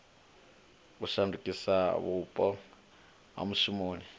u shandukisa vhupo ha mushumoni